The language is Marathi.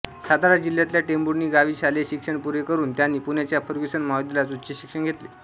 सातारा जिल्ह्यातल्या टेंभुर्णी गावी शालेय शिक्षण पुरे करून त्यांनी पुण्याच्या फर्गसन महाविद्यालयात उच्चशिक्षण घेतले